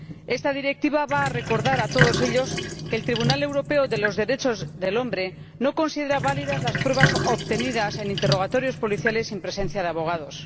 Esta Directiva va a recordar a todos ellos que el Tribunal Europeo de Derechos Humanos no considera válidas las pruebas obtenidas en interrogatorios policiales sin presencia de abogados.